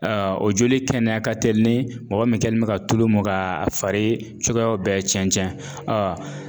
Aa o joli kɛnɛya ka telin ni mɔgɔ min kɛlen bɛ ka tulu mun ka fari cogoyaw bɛɛ cɛn cɛn , a